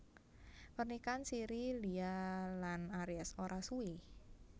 Pernikahan siri Lia lan Aries ora suwé